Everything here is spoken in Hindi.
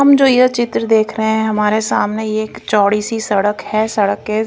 हम जो यह चित्र देख रहे हैं हमारे सामने एक चौड़ी सी सड़क है सड़क के--